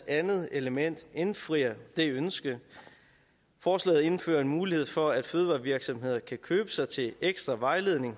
andet element indfrier det ønske forslaget indfører en mulighed for at fødevarevirksomheder hos fødevarestyrelsen kan købe sig til ekstra vejledning